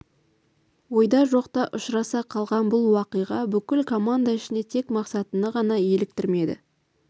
ойда жоқта ұшыраса қалған бұл уақиға бүкіл команда ішінде тек мақсатны ғана еліктірмеді